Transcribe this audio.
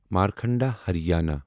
Markanda Haryana